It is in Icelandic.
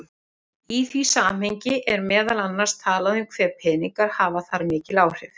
Í því samhengi er meðal annars talað um hve peningar hafi þar mikil áhrif.